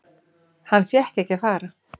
Hann fékk ekki að fara.